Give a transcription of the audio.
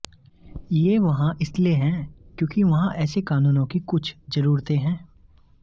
ये वहां इसलिए हैं क्योंकि वहां ऐसे कानूनों की कुछ जरुरते हैं